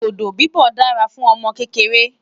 dodo bibọ dá rà fún ọmọ kékeré